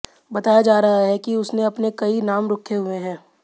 बताया जा रहा है कि उसने अपने कई नाम रखे हुये हैं